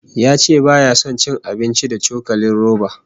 Ya ce baya son cin abinci da cokalin roba